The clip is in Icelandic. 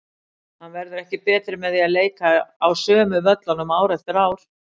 Hann verður ekki betri með því að leika á sömu völlunum ár eftir ár.